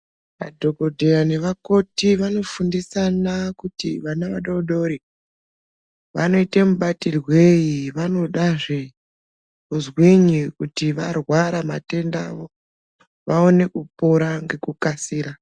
Madhokodheya nevakoti vanofundisana kuti vana vadodori vanoite mubatirwei vanodazve kuzwinyi kuti varwara matenda avo vaone kupona ngekukasira.